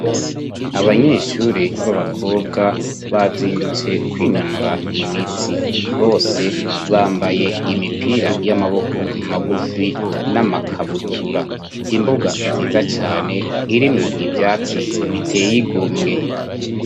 Abanyeshuri b'abakobwa bazindutse kwinonora imitsi. Bose bambaye imipira y'amaboko magufi, n'amakabutura. Imbuga nziza cane irimwo ivyatsi biteye igomwe.